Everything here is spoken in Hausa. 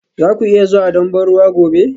Za ku iya zuwa don ban ruwa gobe?